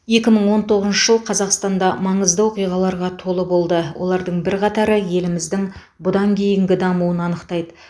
екі мың он тоғызыншы жыл қазақстанда маңызды оқиғаларға толы болды олардың бірқатары еліміздің бұдан кейінгі дамуын анықтайды